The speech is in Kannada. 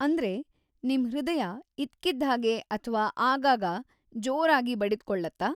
ಅಂದ್ರೆ, ನಿಮ್ ಹೃದಯ ಇದ್ಕಿದ್ಹಾಗೆ ಅಥ್ವಾ ಆಗಾಗ ಜೋರಾಗಿ ಬಡಿದ್ಕೊಳ್ಳತ್ತಾ?